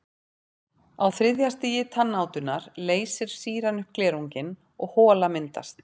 Á þriðja stigi tannátunnar leysir sýran upp glerunginn og hola myndast.